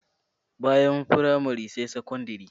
Bayan firamare sai sakandire.